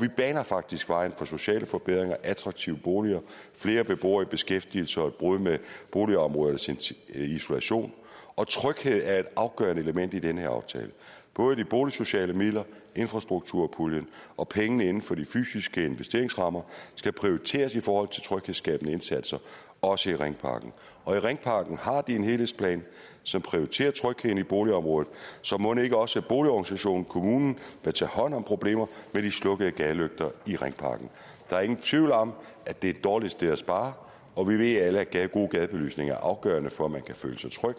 vi baner faktisk vejen for sociale forbedringer attraktive boliger flere beboere i beskæftigelse og et brud med boligområdernes isolation og tryghed er et afgørende element i den her aftale både de boligsociale midler infrastrukturpuljen og pengene inden for de fysiske investeringsrammer skal prioriteres i forhold til tryghedsskabende indsatser også i ringparken i ringparken har de en helhedsplan som prioriterer trygheden i boligområdet så mon ikke også boligorganisationen og kommunen vil tage hånd om problemer med de slukkede gadelygter i ringparken der er ingen tvivl om at det er et dårligt sted at spare og vi ved alle at god gadebelysning er afgørende for at man kan føle sig tryg